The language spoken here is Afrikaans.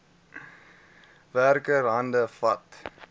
werker hande vat